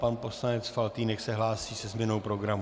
Pan poslanec Faltýnek se hlásí ze změnou programu.